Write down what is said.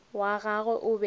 wa gagwe o be o